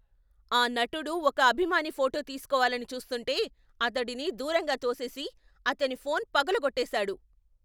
ఆ నటుడు ఒక అభిమాని ఫోటో తీస్కోవాలని చూస్తుంటే అతడిని దూరంగా తోసేసి, అతని ఫోన్ పగులగోట్టేసాడు.